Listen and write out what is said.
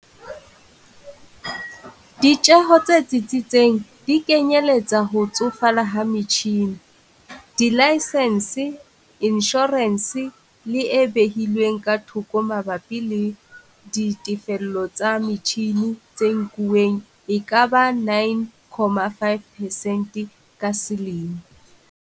Ditjeho tse tsitsitseng di kenyelletsa ho tsofala ha metjhine, dilaesense, inshorense le e behilweng ka thoko mabapi le ditefello tsa metjhine tse nkuwang e ka ba 9, 5 percent ka selemo.